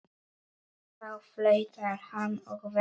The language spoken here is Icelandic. Þá flautar hann og veifar.